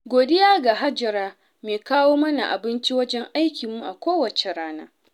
godiya ga Hajara mai kawo mana abinci wajen aikinmu a kowace rana.